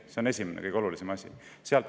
See on esimene ja kõige olulisem asi.